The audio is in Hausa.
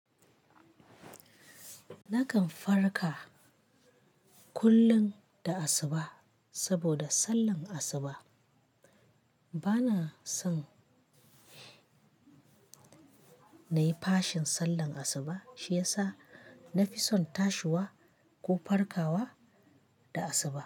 Nakan farka kullun da asuba saboda sallan asuba. Bana son na yi fashin sallan asuba shi ya sa na fi son tashiwa ko farkawa da asuba.